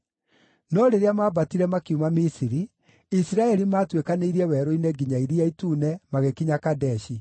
No rĩrĩa maambatire makiuma Misiri, Isiraeli maatuĩkanĩirie werũ-inĩ nginya Iria Itune, magĩkinya Kadeshi.